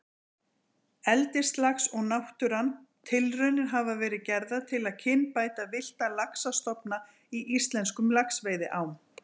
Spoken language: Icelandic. Eldislax og náttúran Tilraunir hafa verið gerðar til að kynbæta villta laxastofna í íslenskum laxveiðiám.